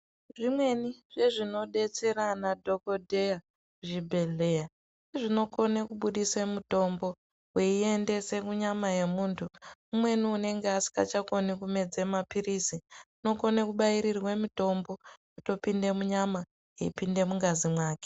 Zvimweni zvezvinobetsera ana dhogodheya zvibhehlera zvinokona kubuditsa mitombo woiendese munyama mwomuntu, umweni anenge asasagone kumedze maphirisi unokone kubairwe mitombo yotopinde munyama yeipinda mungazi mwake.